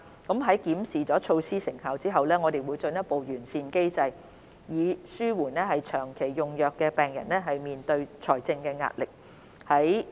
在檢視措施成效後，我們會進一步完善機制，以紓緩長期用藥病人面對的財政壓力。